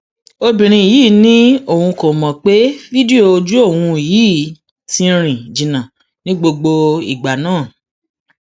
obìnrin yìí ni òun kò mọ pé fídíò ojú òun yìí ti rìn jìnnà ní gbogbo ìgbà náà